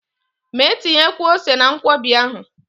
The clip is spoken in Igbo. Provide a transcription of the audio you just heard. Mee tinyekwuo ose na Nkwobi ahụ!